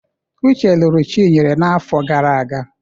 Uche lụrụ Chinyere n'afọ gara aga.